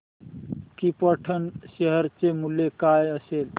krypton share चे मूल्य काय असेल